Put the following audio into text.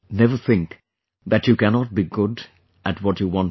Never think that you cannot be good at what you want to be